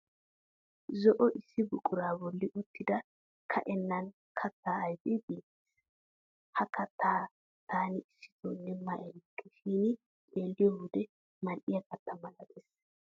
Zo'o issi buquraa bolli uttida ka'ineenna kattaa ayfee beettes. Ha kattaa taani issitoonne ma erikke shin xeeliyo wode madhdhiya katta malatees.